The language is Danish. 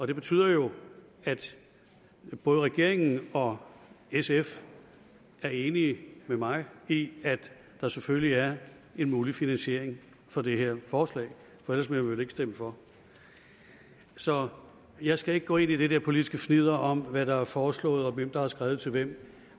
det betyder jo at både regeringen og sf er enige med mig i at der selvfølgelig er en mulig finansiering for det her forslag for ellers ville man vel ikke stemme for så jeg skal ikke gå ind i det der politiske fnidder om hvad der er foreslået og hvem der har skrevet til hvem